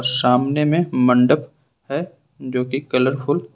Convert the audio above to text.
सामने में मंडप है जो की कलरफुल --